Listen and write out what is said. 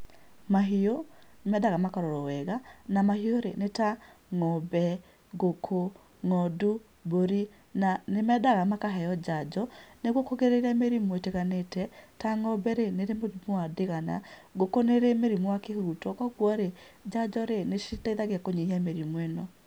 Mahiũ nĩ mendaga makarorwo wega, na mahiũ rĩ, nĩ ta ng'ombe, ngũkũ, ng'ondu, mbũri, na nĩ mendaga makaheo njanjo, nĩguo kũgirĩrĩria mĩrimũ ĩtiganĩte ta ng'ombe rĩ, nĩ ĩrĩ mũrimũ wa ndigana, ngũkũ nĩ ĩrĩ mũrimũ wa kĩhuruto, koguo rĩ, njanjo rĩ, nĩ citeithagia kũnyihia mĩrimũ ĩno.